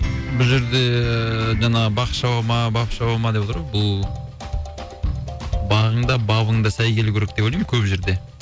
бұ жерде ііі жаңағы бақ шаба ма бап шаба ма деп отыр ғой бұл бағың да бабың да сай келу керек деп ойлаймын көп жерде